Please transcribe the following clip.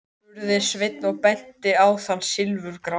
spurði Sveinn og benti á þann silfurgráa.